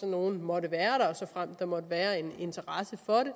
nogle måtte være der og såfremt der måtte være en interesse for det